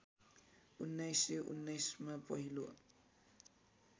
१९१९ मा पहिलो